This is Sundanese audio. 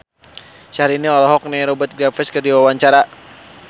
Syaharani olohok ningali Rupert Graves keur diwawancara